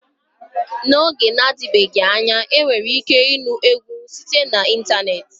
N'oge na-adịbeghị anya enwere ike ịnụ egwu site na ịntanetị.